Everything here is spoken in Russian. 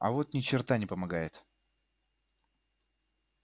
а вот ни черта не помогает